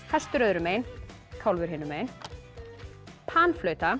hestur öðru megin kálfur hinum megin